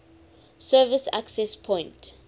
service access point